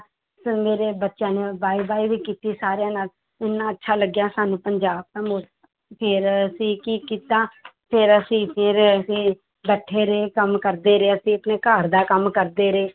ਫਿਰ ਮੇਰੇ ਬੱਚਿਆਂ ਨੇ ਬਾਏ ਬਾਏ ਵੀ ਕੀਤੀ ਸਾਰਿਆਂ ਨਾਲ, ਇੰਨਾ ਅੱਛਾ ਲੱਗਿਆ ਸਾਨੂੰ ਪੰਜਾਬ ਦਾ ਫਿਰ ਅਸੀਂ ਕੀ ਕੀਤਾ ਫਿਰ ਅਸੀਂ ਫਿਰ ਅਸੀਂ ਬੈਠੇ ਰਹੇ ਕੰਮ ਕਰਦੇ ਰਹੇ ਅਸੀਂ ਆਪਣੇ ਘਰ ਦਾ ਕੰਮ ਕਰਦੇ ਰਹੇ।